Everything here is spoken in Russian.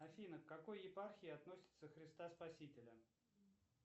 афина к какой епархии относится христа спасителя